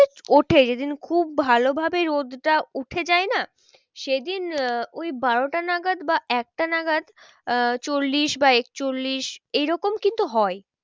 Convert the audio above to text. উঠে যেদিন খুব ভালো ভাবে রোদটা উঠে যায় না সেদিন আহ ওই বারোটা নাগাদ বা একটা নাগাদ আহ চল্লিশ বা একচল্লিশ এরকম কিন্তু হয়।